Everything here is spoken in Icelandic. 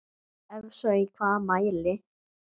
Ef svo í hvaða mæli?